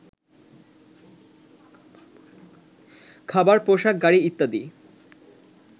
খাবার, পোশাক, গাড়ি ইত্যাদি